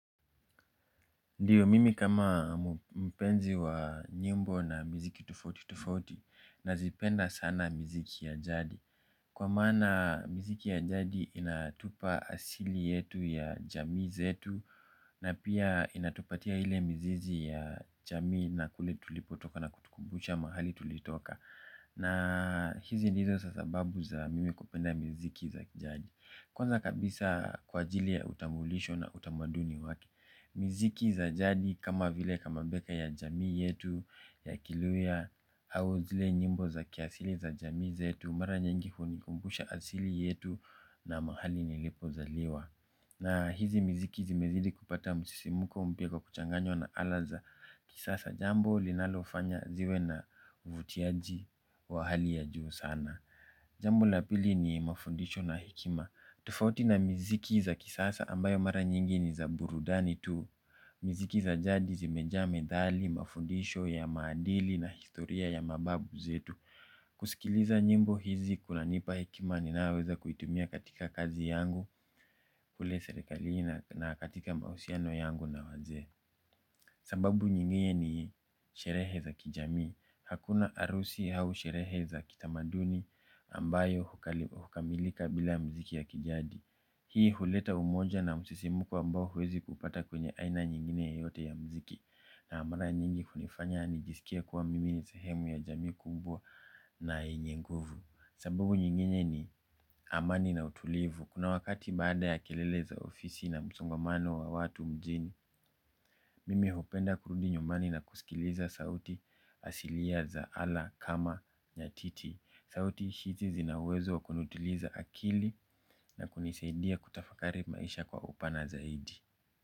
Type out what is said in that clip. Ndiyo mimi kama mpenzi wa nyimbo na miziki tufauti tufauti nazipenda sana miziki ya jadi. Kwa maana miziki ya jadi inatupa asili yetu ya jamii zetu. Na pia inatupatia ile mizizi ya jamii na kule tulipotoka na kutukumbusha mahali tulitoka. Na hizi ndizo sa sababu za mimi kupenda miziki za kijadi. Kwanza kabisa kwa ajili ya utambulisho na utamaduni waki. Miziki za jadi kama vile kama beka ya jamii yetu ya kiluya au zile nyimbo za kiasili za jamii yetu mara nyingi hunikumbusha asili yetu na mahali nilipozaliwa. Na hizi mziki zimezidi kupata msisimuko mpya kwa kuchanganywa na ala za kisasa jambo linalofanya ziwe na uvutiaji wa hali ya juu sana. Jambo la pili ni mafundisho na hekima. Tufauti na miziki za kisasa ambayo mara nyingi ni za burudani tu. Miziki za jadi zimejaa medhali mafundisho ya maadili na historia ya mababu zetu. Kusikiliza nyimbo hizi kunanipa hekima ninayoweza kuitumia katika kazi yangu. Kule serikalini na katika mahusiano yangu na wazee. Sambabu nyingine sherehe za kijamii. Hakuna arusi hau sherehe za kitamaduni ambayo hukamilika bila mziki ya kijadi. Hii huleta umoja na msisimuko ambao huwezi kuupata kwenye aina nyingine yeyote ya mziki. Na mara nyingi hunifanya nijisikie kuwa mimi ni sehemu ya jamii kumbwa na yenye nguvu. Sababu nyingine ni amani na utulivu. Kuna wakati baada ya kelele za ofisi na msongamano wa watu mjini. Mimi hupenda kurudi nyumani na kusikiliza sauti asilia za ala kama nyatiti. Sauti hizi zina uwezo wa kunutiliza akili na kuniseidia kutafakari maisha kwa upana zaidi.